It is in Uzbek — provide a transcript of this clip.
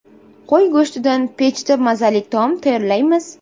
Qo‘y go‘shtidan pechda mazali taom tayyorlaymiz.